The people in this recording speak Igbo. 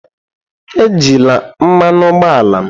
Ejila mmanụ ụgbọala m!